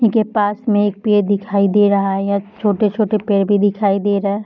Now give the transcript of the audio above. इनके पास में एक पेड़ दिखाई दे रहा है यहां छोटे-छोटे पेड़ भी दिखाई दे रहा है।